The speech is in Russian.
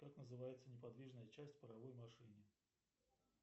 как называется неподвижная часть в паровой машине